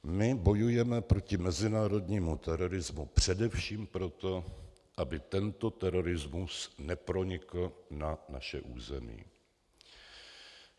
My bojujeme proti mezinárodnímu terorismu především proto, aby tento terorismus nepronikl na naše území.